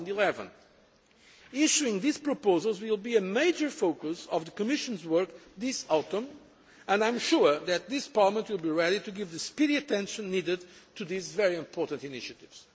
of 2011. Issuing these proposals will be a major focus of the Commission's work this autumn and I am sure that Parliament will be ready to give the speedy attention needed to this very important initiative.